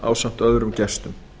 ráðstefnuna ásamt öðrum gestum